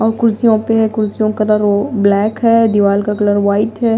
और कुर्सियों पे है कुर्सियों का कलर ब्लैक है दीवार का कलर वाइट है।